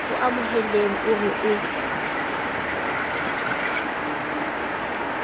o amohelehang o re o